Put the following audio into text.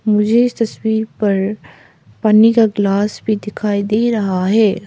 मुझे इस तस्वीर पर पन्नी का ग्लास भी दिखाई दे रहा है।